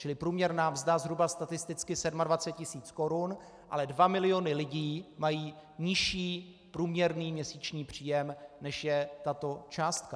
Čili průměrná mzda zhruba statisticky 27 tisíc korun, ale 2 miliony lidí mají nižší průměrný měsíční příjem, než je tato částka.